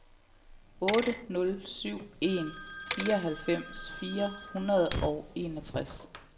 otte nul syv en fireoghalvfems fire hundrede og enogtres